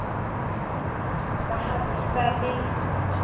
ba ha ke sa le